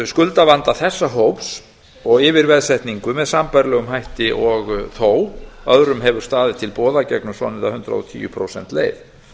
skuldavanda þessa hóps og yfirveðsetningu með sambærilegum hætti og þó örum hefur staðið til boða gegnum svonefnda hundrað og tíu prósenta leið